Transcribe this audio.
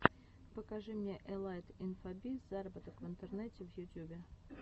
покажи мне элайт инфобиз зароботок в интернете в ютюбе